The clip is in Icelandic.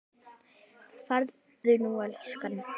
Farðu nú niður, elskan.